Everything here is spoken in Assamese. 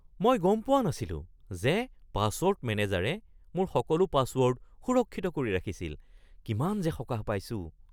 মই গম পোৱা নাছিলো যে পাছৱৰ্ড মেনেজাৰে মোৰ সকলো পাছৱৰ্ড সুৰক্ষিত কৰি ৰাখিছিল। কিমান যে সকাহ পাইছোঁ!